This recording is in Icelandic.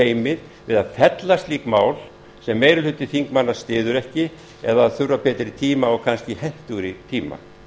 ófeimið við fella slík mál sem meiri hluti þingmanna styður ekki eða þurfa betri tíma og kannski hentugri tíma